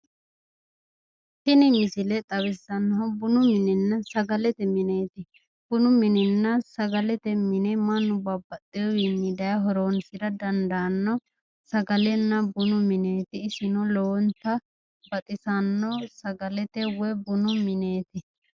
Tini misile xawissannohu bunu minenna sagalete mineeti. bunu minenna sagalete mine mannu babbaxxewiinni daye horoonsira daandanno sagalenna bunu mineeti. isino lowonta baxisanno sagalenna woyi bunu mneeti.